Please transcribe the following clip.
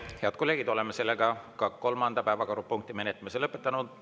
Head kolleegid, oleme ka kolmanda päevakorrapunkti menetlemise lõpetanud.